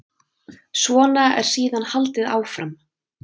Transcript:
Svona er síðan haldið áfram.